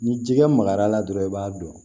Ni jikɛ magara dɔrɔn i b'a dɔn